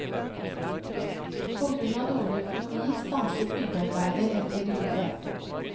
På grunn av dårlig økonomi stanset byggearbeidet en periode.